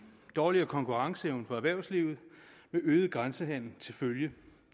dårligere konkurrenceevne for erhvervslivet med øget grænsehandel til følge